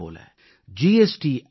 அதே போல ஜி